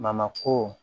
ko